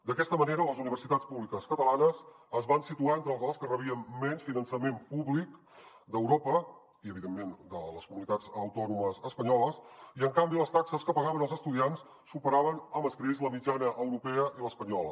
d’aquesta manera les universitats públiques catalanes es van situar entre les que rebien menys finançament públic d’europa i evidentment de les comunitats autònomes espanyoles i en canvi les taxes que pagaven els estudiants superaven amb escreix la mitjana europea i l’espanyola